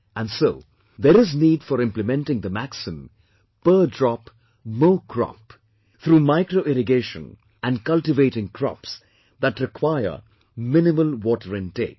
And so there is need for implementing the maxim 'Per Drop More Crop' through MicroIrrigation and cultivating crops that require minimal water intake